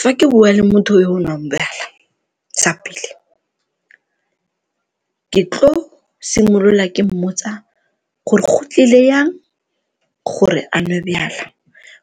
Fa ke bua le motho yo o nwang jwala sa pele, ke tlo simolola ke mmotsa gore go tlile jang gore a nwe jwala